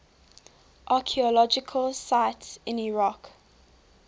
archaeological sites in iraq